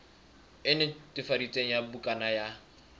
e netefaditsweng ya bukana ya